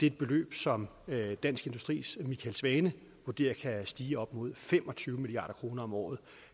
et beløb som dansk industris michael svane vurderer kan stige til op imod fem og tyve milliard kroner om året